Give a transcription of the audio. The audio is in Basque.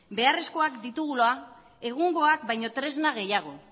beharrezkoak ditugula egungoak baino tresna gehiago